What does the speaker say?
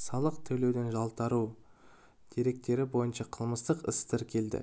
салық төлеуден жалтару деректері бойынша қылмыстық іс тіркелді